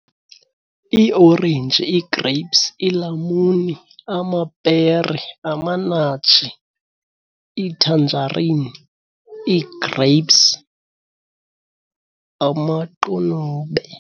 Iiorenji, ii-grapes, iilamuni, amapere, amanatshi, iithanjarini, ii-grapes, amaqunube.